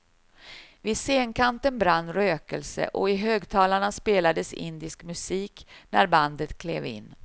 Vid scenkanten brann rökelse och i högtalarna spelades indisk musik när bandet klev in.